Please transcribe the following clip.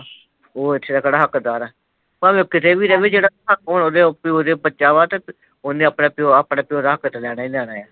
ਉਹ ਇੱਥੇ ਦਾ ਕਿਹੜਾ ਹੱਕਦਾਰ ਹੈ। ਭਾਵੇਂ ਉਹ ਕਿਤੇ ਵੀ ਰਵੇ ਤੇ ਜਿਹੜਾ ਹੱਕ ਉਹਦੇ ਪਿਓ ਤੇ ਬੱਚਾ ਵਾ ਉਹਨੇ ਆਪਣੇ ਪਿਓ ਦਾ ਹੱਕ ਤੇ ਲੈਣਾ ਹੀ ਲੈਣਾ।